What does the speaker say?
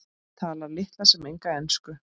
Talar litla sem enga ensku.